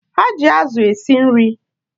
Ha ji azụ esi nri